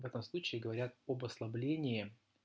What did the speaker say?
в этом случае говорят об ослаблении